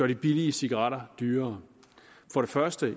de billige cigaretter dyrere for det første